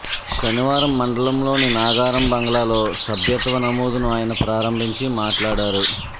శనివారం మండలంలోని నాగారం బంగ్లాలో సభ్యత్వ నమోదును ఆయన ప్రారంభించి మాట్లాడారు